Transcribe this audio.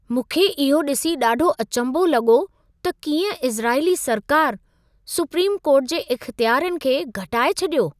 मूंखे इहो ॾिसी ॾाढो अचंभो लॻो त कीअं इज़राइली सरकारु सुप्रीम कोर्ट जे इख़्तियारनि खे घटाए छॾियो।